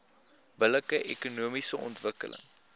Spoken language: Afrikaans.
billike ekonomiese ontwikkeling